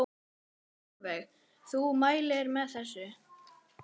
Sólveig: Þú mælir með þessu?